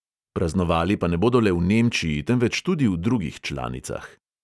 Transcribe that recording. Praznovali pa ne bodo le v nemčiji, temveč tudi v drugih članicah.